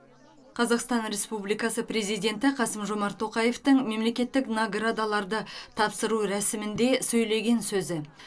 қазақстан республикасы президенті қасым жомарт тоқаевтың мемлекеттік наградаларды тапсыру рәсімінде сөйлеген сөзі